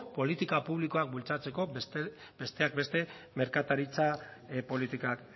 politika publikoak bultzatzeko besteak beste merkataritza politikak